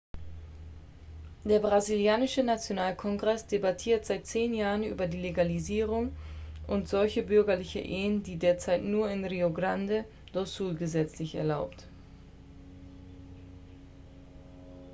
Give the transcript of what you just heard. der brasilianische nationalkongress debattiert seit 10 jahren über die legalisierung und solche bürgerlichen ehen sind derzeit nur in rio grande do sul gesetzlich erlaubt